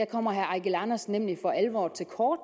kommer herre eigil andersen nemlig for alvor til kort